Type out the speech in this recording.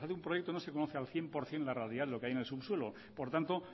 cuando se hace un proyecto no se conoce al cien por ciento la realidad de lo que hay en el subsuelo por tanto